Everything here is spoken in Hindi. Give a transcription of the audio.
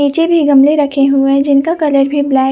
पीछेभी गमले रखे हुए हैं जिनका कलर भी ब्लैक --